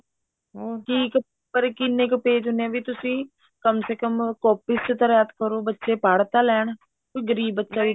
ਹੁਣ ਕੀ ਕਿੰਨੇ ਕ page ਨੇ ਵੀ ਤੁਸੀਂ ਕਮ ਸੇ ਕਮ copy ਚ ਰਾਇਤ ਕਰੋ ਬੱਚੇ ਪੜ੍ਹ ਤਾਂ ਲੈਣ ਕੋਈ ਗਰੀਬ ਬੱਚਾ